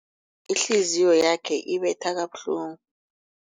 ihliziyo yakhe ibetha kabuhlungu.